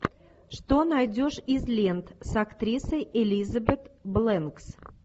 что найдешь из лент с актрисой элизабет бэнкс